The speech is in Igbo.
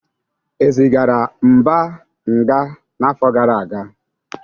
E zigara Mba nga n'afọ gara aga?